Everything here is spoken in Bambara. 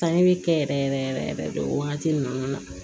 Sanni bɛ kɛ yɛrɛ yɛrɛ yɛrɛ yɛrɛ de o wagati ninnu na